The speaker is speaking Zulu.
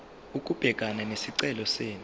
ukubhekana nesicelo senu